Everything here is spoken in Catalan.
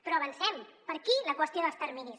però avancem per aquí la qüestió dels terminis